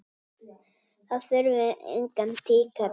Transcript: Þá þurfum við engan tíkall!